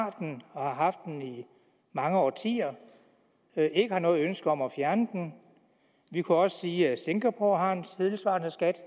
har den og har haft den i mange årtier ikke har noget ønske om at fjerne den vi kunne også sige at singapore har en tilsvarende skat